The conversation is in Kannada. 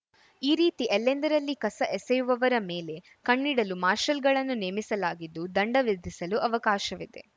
ಈ ರೀತಿ ಎಲ್ಲೆಂದರಲ್ಲಿ ಕಸ ಎಸೆಯುವವರ ಮೇಲೆ ಕಣ್ಣಿಡಲು ಮಾರ್ಶಲ್‌ಗಳನ್ನು ನೇಮಿಸಲಾಗಿದ್ದು ದಂಡ ವಿಧಿಸಲು ಅವಕಾಶವಿದೆ